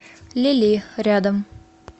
лили рядом